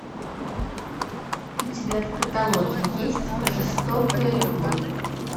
у тебя в каталоге есть жестокая любовь